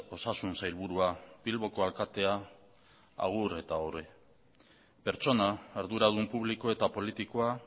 osasun sailburua bilboko alkatea agur eta ohore pertsona arduradun publiko eta politikoa